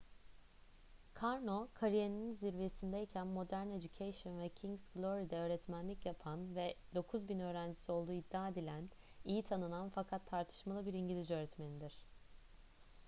karno kariyerinin zirvesindeyken modern education ve king's glory’de öğretmenlik yapan ve 9.000 öğrencisi olduğu iddia edilen iyi tanınan fakat tartışmalı bir i̇ngilizce öğretmenidir